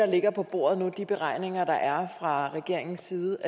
ligger på bordet nu de beregninger der er fra regeringens side